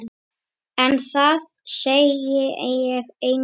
En það segi ég engum.